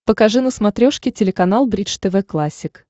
покажи на смотрешке телеканал бридж тв классик